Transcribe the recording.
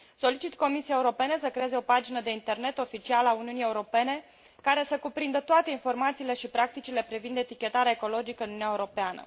Solicit Comisiei Europene să creeze o pagină de internet oficială a Uniunii Europene care să cuprindă toate informațiile și practicile privind etichetarea ecologică în Uniunea Europeană.